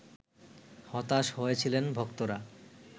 হতাশ হয়েছিলেন ভক্তরা